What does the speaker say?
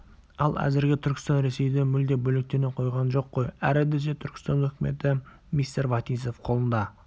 ал әзірге түркістан ресейден мүлде бөлектене қойған жоқ қой әрі десе түркістан өкіметі мистер вотинцев қолында